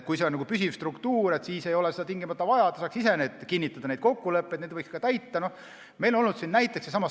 Kui see on püsiv struktuur, siis ei ole seda tingimata vaja, ta saaks ise need kokkulepped kinnitada ja neid võiks ka täita.